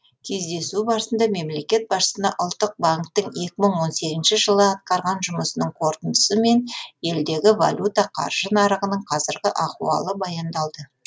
кездесу барысында мемлекет басшысына ұлттық банктің екі мың он сегізінші жылы атқарған жұмысының қорытындысы мен елдегі валюта қаржы нарығының қазіргі ахуалы баяндалды